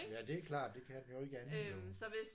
Ja det er klart det kan den jo ikke andet jo